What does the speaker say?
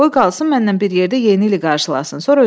Qoy qalsın, mənlə bir yerdə Yeni ili qarşılasın.